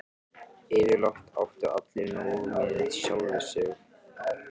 Yfirleitt áttu allir nóg með sjálfa sig.